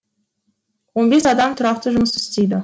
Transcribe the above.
он бес адам тұрақты жұмыс істейді